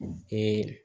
Ee